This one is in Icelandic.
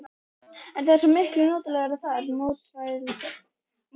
En það er svo miklu notalegra þar, mótmælum við.